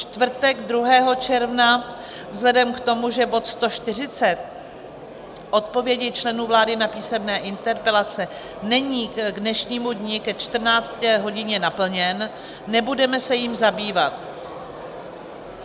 Čtvrtek 2. června: vzhledem k tomu, že bod 140, odpovědi členů vlády na písemné interpelace, není k dnešnímu dni ke 14. hodině naplněn, nebudeme se jím zabývat.